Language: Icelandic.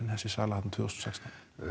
þessi sala þarna tvö þúsund og sextán